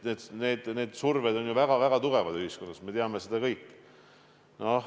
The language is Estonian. Mõlematpidi on surve ühiskonnas ju väga-väga tugev, seda me teame kõik.